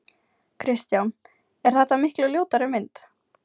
Kristján: Er þetta miklu ljótari mynd?